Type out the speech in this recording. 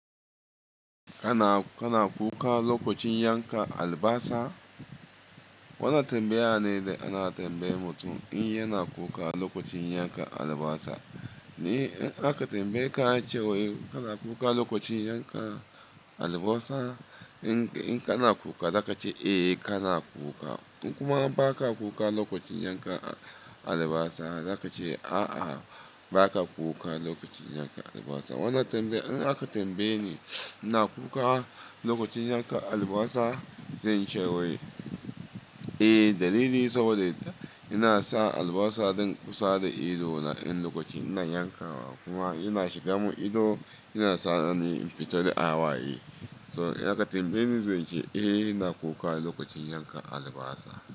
Kana, kana kuka lokacin yanka albasa? Wannan tambaya ne da ana tambayar mutum in yana kuka lokacin yanka albasa. Ni in aka tambaye ka cewa kana kuka lokacin yanka albasa, in, in kana kuka za ka ce eh kana kuka. In kuma ba ka kuka lokacin yanka albasa za ka ce a'a ba ka kuka lokacin yanka albasa. Wannan tambaya in aka tambaye ni, ina kuka lokacin yanka albasa? Zan ce wai eh dalili saboda ina sa albasa don kusa da ido na in lokacin ina yanka wa kuma ina shiga mun ido, yana sa ni in fita da awaye. Eh so in aka tambaye ni zan ce eh ina kuka lokacin yanka albasa.